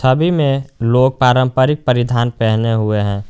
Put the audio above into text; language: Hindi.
अभी में लोग पारंपरिक परिधान पहने हुए हैं।